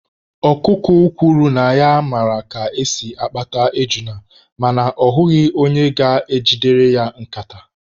Okụkụ kwuru na ya mara ka esi akpata ejuna mana ọ hụghị onye ga-ejidere ya nkata.